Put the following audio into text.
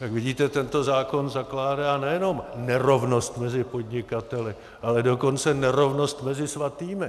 Jak vidíte, tento zákon zakládá nejenom nerovnost mezi podnikateli, ale dokonce nerovnost mezi svatými.